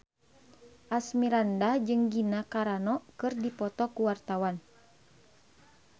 Asmirandah jeung Gina Carano keur dipoto ku wartawan